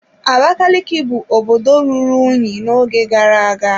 Abakaliki bụ obodo ruru unyi n'oge gara-aga.